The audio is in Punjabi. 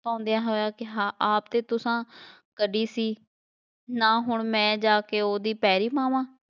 ਬਣਾਉਂਦਿਆਂ ਹੋਇਆ ਕਿਹਾ ਆਪ 'ਤੇ ਤੁਸਾਂ ਕੱਢੀ ਸੀ, ਨਾ ਹੁਣ ਮੈਂ ਜਾ ਕੇ ਉਹਦੀ ਪੈਰੀ ਪਵਾਂ,